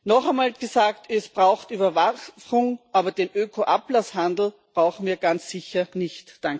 Noch einmal gesagt Es braucht Überwachung, aber den Öko Ablasshandel brauchen wir ganz sicher nicht.